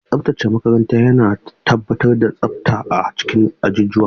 Mai tsaftace makaranta yana tabbatar da tsafta a cikin ajujuwa.